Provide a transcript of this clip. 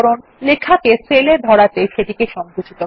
লেখাকে সেল এ ধরাতে সেটিকে সংকুচিত করা